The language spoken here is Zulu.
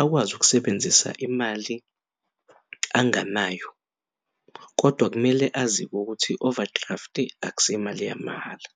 akwazi ukusebenzisa imali anganayo kodwa kumele azi ukuthi i-overdraft akusiyo imali yamahhala.